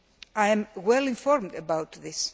I am well informed about this.